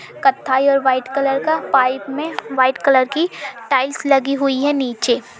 कथई और white colour का पाइप में व्हाइट कलर की टाइल्स लगी हुई है नीचे।